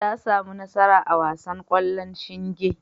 Ta sami nasara a wasan ƙwallon shinge.